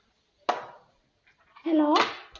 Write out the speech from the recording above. hello